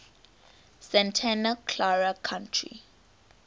santa clara county